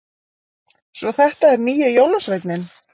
Svo þetta er nýji jólasveininn!